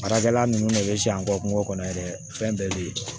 Baarakɛla nunnu ne bɛ siɲɛ kɔ kungo kɔnɔ yɛrɛ fɛn bɛɛ bɛ yen